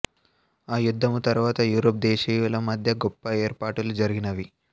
ఆ యుద్దము తరువాత యూరోప్ దేశీముల మధ్య గొప్ప ఏర్పాటులు జరిగినవి